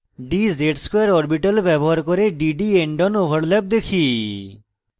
dz ^ 2 orbital ব্যবহার করে dd endon overlap দেখি